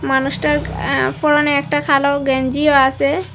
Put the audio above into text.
মানুষটার অ্যা পরনে একটা কালো গেঞ্জিও আসে।